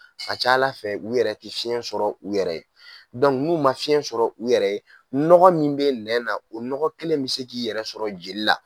Ka ca Ala fɛ u yɛrɛ ka fiɲɛ sɔrɔ u yɛrɛ ye n'u ma fiɲɛ sɔrɔ u yɛrɛ nɔgɔ min bɛ nɛn na o nɔgɔ kelen bɛ se k'a yɛrɛ sɔrɔ joli la